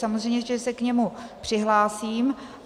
Samozřejmě že se k němu přihlásím.